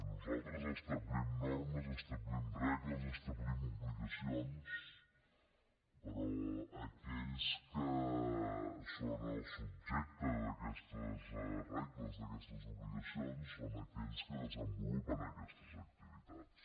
nosaltres establim normes establim regles establim obligacions però aquells que són el subjecte d’aquestes regles d’aquestes obligacions són aquells que desenvolupen aquestes activitats